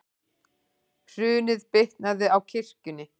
Hrunið bitnaði á kirkjunni